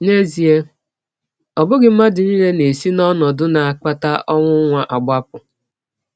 N’ezie, ọ bụghị mmadụ nile na - esi n’ọnọdụ na - akpata ọnwụnwa agbapụ.